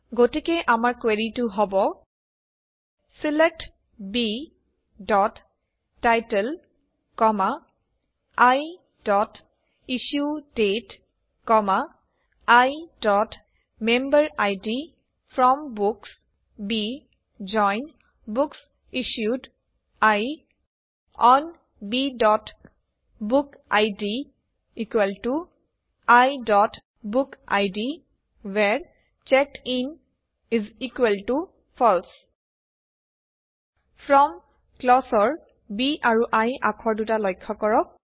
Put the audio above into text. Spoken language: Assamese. গতিকে আমাৰ কুৱেৰি হব select b title i issue date i member id from books B join books issued I on b book id i book id where checked in false from ক্লজৰ B আৰু I আখৰ দুটা লক্ষ্য কৰক